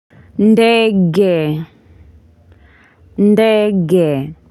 Ndege ndege.